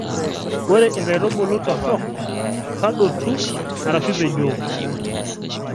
Ore inkaitubulu torok tadotu arashu ipejooo